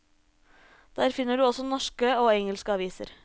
Der finner du også norske og engelske aviser.